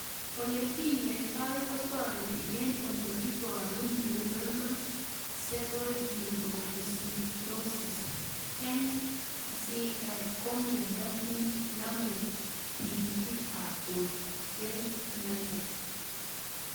Ole kinyoitoi kotareti eng' ole iparugNeuronal ceroid lipofuscinosis (NCL) ko miondo nenamie tig'itik ab portg'éi miondo